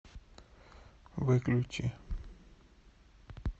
выключи